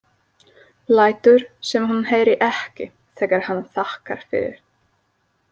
Lætur sem hún heyri ekki þegar hann þakkar fyrir.